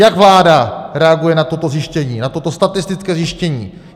Jak vláda reaguje na toto zjištění, na toto statistické zjištění?